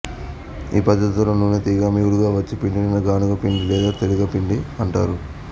ఈ పద్ధతిలో నూనెతీయగా మిగులుగా వచ్చు పిండిని గానుగ పిండి లేదా తెలగపిండి అంటారు